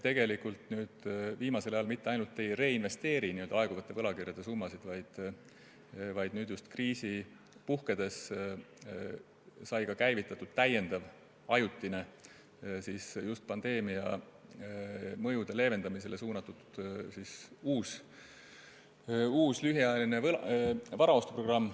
Tegelikult me viimasel ajal mitte ainult ei reinvesteeri n-ö aeguvate võlakirjade summasid, vaid nüüd kriisi puhkedes sai käivitatud ka täiendav ajutine just pandeemia mõjude leevendamisele suunatud lühiajaline varaostuprogramm.